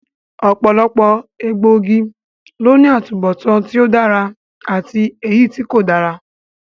Ọ̀pọ̀lọpọ̀ egbòogi ló ní atubọtan tí ó dára àti èyítí kò dára